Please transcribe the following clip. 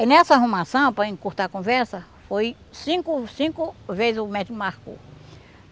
Aí nessa arrumação, para encurtar a conversa, foi cinco, cinco vezes o médico marcou.